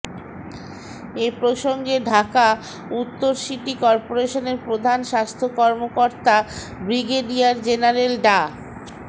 এ প্রসঙ্গে ঢাকা উত্তর সিটি কর্পোরেশনের প্রধান স্বাস্থ্য কর্মকর্তা ব্রিগেডিয়ার জেনারেল ডা